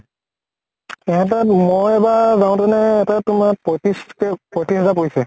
এটা ত মই এবাৰ যাওঁতে নে এটা ত তোমাৰ পঁইত্ৰিছ কে পঁইত্ৰিছ হাজাৰ কে পৰিছে ।